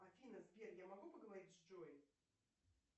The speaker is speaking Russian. афина сбер я могу поговорить с джой